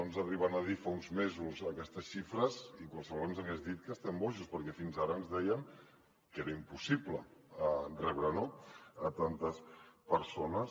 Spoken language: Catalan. ens arriben a dir fa uns mesos aquestes xifres i qualsevol ens hagués dit que estem bojos perquè fins ara ens deien que era impossible rebre no tantes persones